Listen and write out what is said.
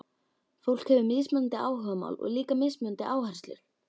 Fólk hefur mismunandi áhugamál og líka mismunandi áherslur.